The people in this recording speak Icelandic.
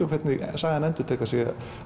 hvernig sagan endurtekur sig